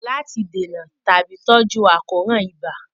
Láti dènà tàbí tọ́jú àkóràn ibà